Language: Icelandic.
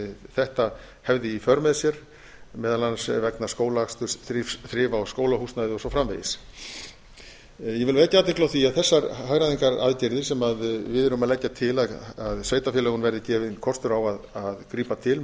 þetta hefði í för með sér meðal annars vegna skólaaksturs þrifa á skólahúsnæði og svo framvegis ég vil vekja athygli á því að þessar hagræðingaraðgerðir sem við erum að leggja til að sveitarfélögunum verði gefinn kostur á að grípa til